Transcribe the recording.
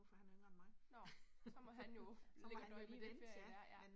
Nåh, så må han jo, ligge og døje med det, ja ja